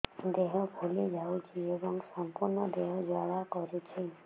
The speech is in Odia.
ଦେହ ଫୁଲି ଯାଉଛି ଏବଂ ସମ୍ପୂର୍ଣ୍ଣ ଦେହ ଜ୍ୱାଳା କରୁଛି